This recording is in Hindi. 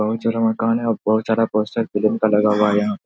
बोहोत सारा मकान है। बोहोत सारा पोस्टर फिलम का लाग हुआ है यहाँ --